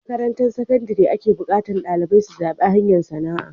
A makarantar sakandare ake buƙatar dalibai su zaɓi hanyar sana'a